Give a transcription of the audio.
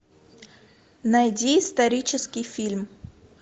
найди исторический фильм